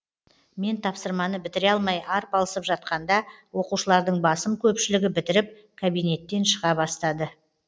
мен тапсырманы бітіре алмай арпалысып жатқанда оқушылардың басым көпшілігі бітіріп кабиненттен шыға бастады